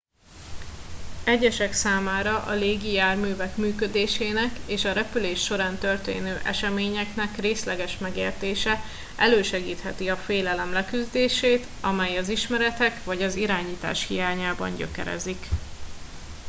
egyesek számára a légi járművek működésének és a repülés során történő eseményeknek részleges megértése elősegítheti a félelem leküzdését amely az ismeretek vagy az irányítás hiányában gyökerezik